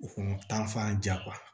U fana ta fan ja